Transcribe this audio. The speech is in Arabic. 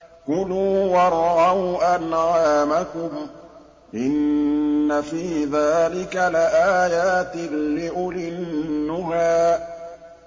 كُلُوا وَارْعَوْا أَنْعَامَكُمْ ۗ إِنَّ فِي ذَٰلِكَ لَآيَاتٍ لِّأُولِي النُّهَىٰ